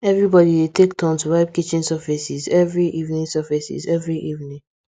everybody dey take turn to wipe kitchen surfaces every evening surfaces every evening